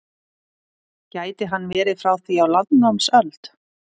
Gæti hann verið frá því á landnámsöld?